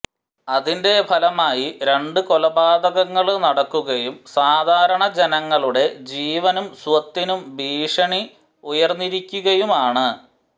അതിന്റെ ഫലമായി രണ്ട് കൊലപാതകങ്ങള് നടക്കുകയും സാധാരണ ജനങ്ങളുടെ ജീവനും സ്വത്തിനും ഭീഷണി ഉയര്ന്നിരിക്കുകയുമാണ്